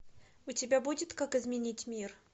у тебя будет как изменить мир